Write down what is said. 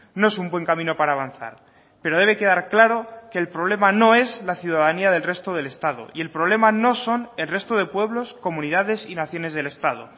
no es un buen camino para avanzar pero debe quedar claro que el problema no es la ciudadanía del resto del estado y el problema no son el resto de pueblos comunidades y naciones del estado